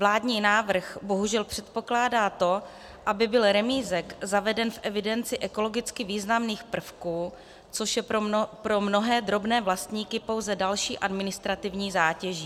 Vládní návrh bohužel předpokládá to, aby byl remízek zaveden v evidenci ekologicky významných prvků, což je pro mnohé drobné vlastníky pouze další administrativní zátěží.